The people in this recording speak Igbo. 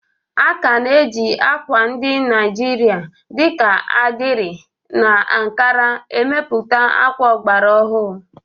A ka na-eji ákwà ndị Naijiria dị ka adire na Ankara emepụta akwa ọgbara ọhụrụ.